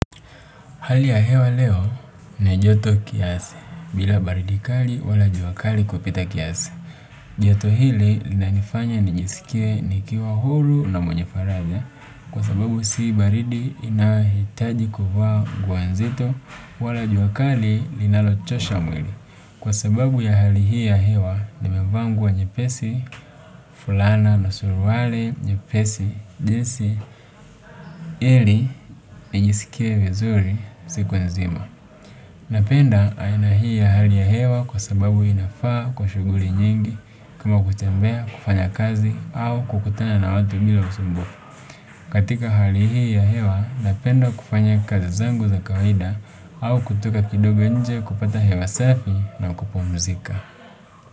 Hali ya hewa leo ni joto kiasi bila baridi kali wala jua kali kupita kiasi. Joto hili lina nifanya nijisikie nikiwa huru na mwenye faraja kwa sababu si baridi inayohitaji kuvaa nguo nzito wala jua kali linalochosha mwili. Kwa sababu ya hali hii ya hewa nimevaa nguo nyepesi, fulana na suruali nyepesi, jinsi ili nijisikie vizuri siku nzima. Napenda aina hii ya hali ya hewa kwa sababu inafaa kwa shughuli nyingi kama kutembea, kufanya kazi au kukutana na watu bila usumbufu. Katika hali hii ya hewa napenda kufanya kazi zangu za kawaida au kutoka kidogo inje kupata hewa safi na kupumzika.